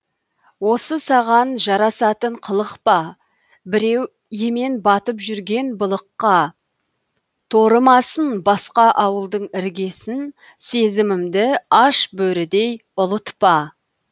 осы саған жарасатын қылық па біреу емен батып жүрген былыққа торымасын басқа ауылдың іргесін сезімімді аш бөрідей ұлытпа